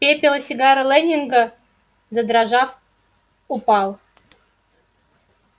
пепел с сигары лэннинга задрожав упал